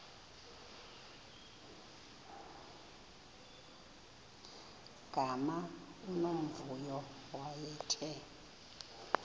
gama unomvuyo wayethe